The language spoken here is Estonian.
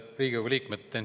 Head Riigikogu liikmed!